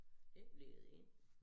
Ikke lede ind